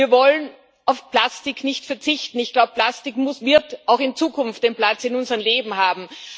Wir wollen auf Plastik nicht verzichten. Ich glaube, Plastik wird auch in Zukunft seinen Platz in unserem Leben haben.